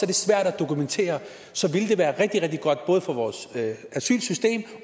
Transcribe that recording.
det svært at dokumentere så ville det være rigtig rigtig godt både for vores asylsystem